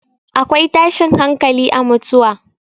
akwai tashin hankali a mutuwa